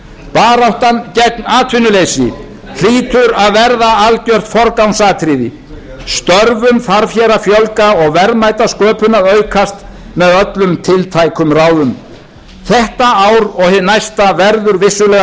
baráttan gegn atvinnuleysi hlýtur að verða algjört forgangsatriði störfum þarf hér að fjölga og verðmætasköpun að aukast með öllum tiltækum ráðum þetta ár og hið næsta